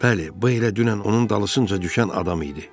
Bəli, bu elə dünən onun dalısınca düşən adam idi.